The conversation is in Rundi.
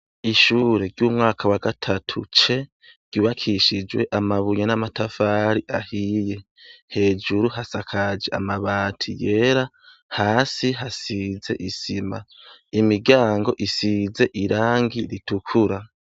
Icumba c' ishure c' umwaka wa gatatu C, ryubakishijwe n'amatafar' ahiye, hejuru hasakaj' amabati yera, hasi hasiz' isima, urugi rukozwe mu vyuma ruriko n' ibiy' usiz irangi ryera , hejuru y' umuryango har' udutoboro dusiz' irangi ryera twinjiz' umuyaga.